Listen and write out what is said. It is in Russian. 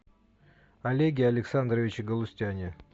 олеге александровиче галустяне